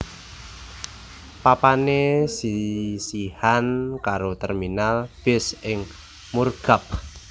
Papané sisihan karo terminal bis ing Murgab